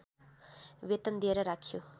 वेतन दिएर राखियो